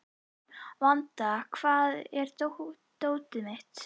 Vanda, hvar er dótið mitt?